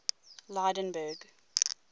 lydenburg